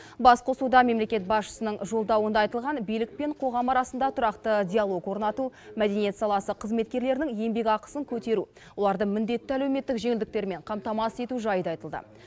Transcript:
басқосуда мемлекет басшысының жолдауында айтылған билік пен қоғам арасында тұрақты диалог орнату мәдениет саласы қызметкерлерінің еңбекақысын көтеру оларды міндетті әлеуметтік жеңілдіктермен қамтамасыз ету жайы да айтылды